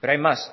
pero hay más